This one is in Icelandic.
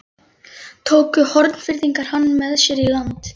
Tóku Hornfirðingar hann með sér í land.